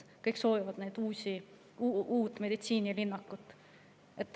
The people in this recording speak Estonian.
Kõik soovivad uut meditsiinilinnakut.